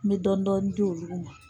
N bɛ dɔɔni dɔɔni di olugu ma.